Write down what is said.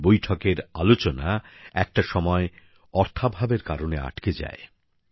সেই বৈঠকের আলোচনা একটা সময় অর্থাভাবের কারণে আটকে যায়